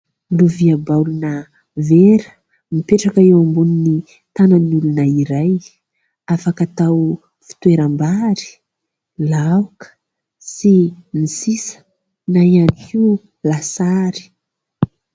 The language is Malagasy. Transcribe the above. Lovia baolina vera mipetraka eo ambonin'ny tanan'ny olona iray, afaka atao fitoeram-bary, laoka sy ny sisa na ihany hoa lasary.